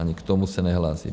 Ani k tomu se nehlásí.